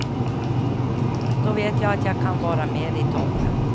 Då vet jag att jag kan vara med i toppen.